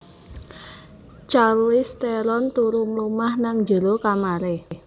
Charlize Theron turu mlumah nang njero kamare